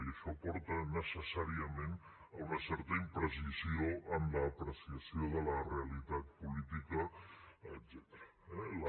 i això porta necessàriament a una certa imprecisió en l’apreciació de la realitat política etcètera